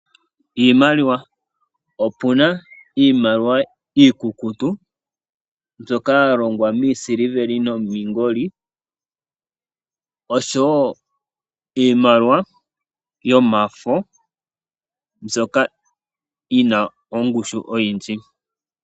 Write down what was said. Iimaliwa: opuna iimaliwa iikukutu, mbyoka yalongwa miisiliveli nomiingoli, nosho woo iimaliwa yomafo, mbyoka yina ongushu oyindji.